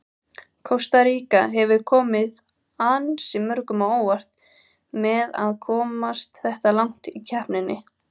Kosta Ríka hefur komið ansi mörgum á óvart með að komast þetta langt í keppninni.